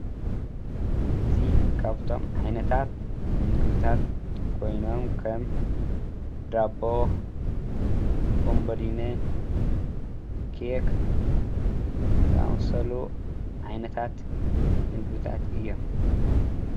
እዚ ካብቶም ዓይነታት ምግብታት ኮይኖም ከም ዳቦ፣ ቦምቦሊኒ፣ ኬክ ዝኣምሰሉ ዓይነታት ምግብታት እዮም።